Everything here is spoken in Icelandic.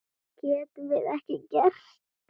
Getum við ekkert gert?